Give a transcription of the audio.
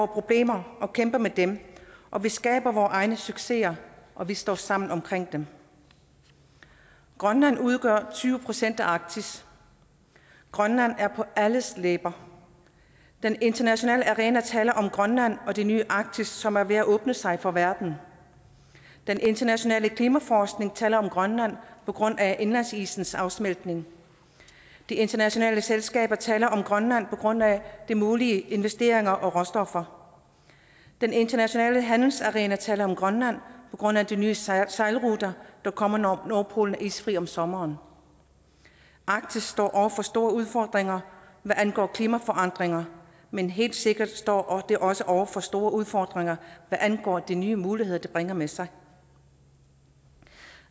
problemer og kæmper med dem og vi skaber vores egne succeser og vi står sammen om dem grønland udgør tyve procent af arktis grønland er på alles læber den internationale arena taler om grønland og det nye arktis som er ved at åbne sig for verden den internationale klimaforskning taler om grønland på grund af indlandsisens afsmeltning de internationale selskaber taler om grønland på grund af de mulige investeringer og råstoffer den internationale handelsarena taler om grønland på grund af de nye sejlruter der kommer når nordpolen er isfri om sommeren arktis står over for store udfordringer hvad angår klimaforandringer men helt sikkert står det også over for store udfordringer hvad angår de nye muligheder det bringer med sig